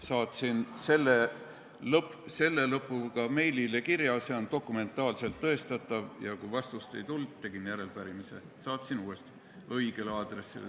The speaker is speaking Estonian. Saatsin selle meili, see on dokumentaalselt tõestatav, ja kui vastust ei tulnud, tegin järelepärimise ning saatsin uuesti, õigele aadressile.